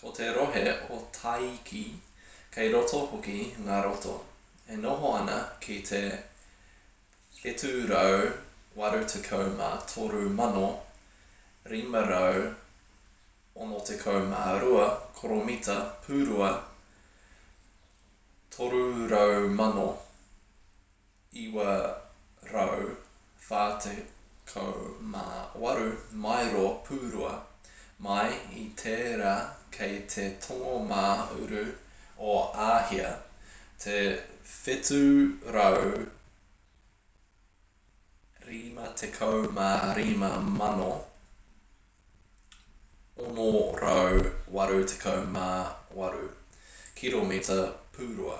ko te rohe o tākei kei roto hoki ngā roto e noho ana ki te 783,562 koromita pūrua 300,948 maero pūrua mai i tērā kei te tonga mā uru o āhia te 755,688 kiromita pūrua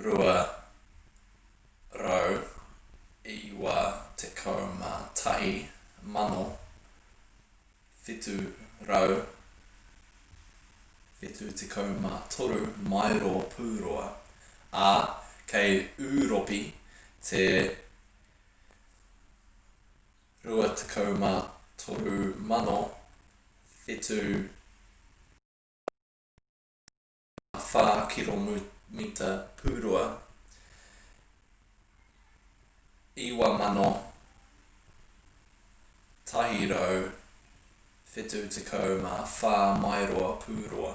291,773 maero pūrua ā kei ūropi te 23,764 kiromita pūrua 9,174 maero pūrua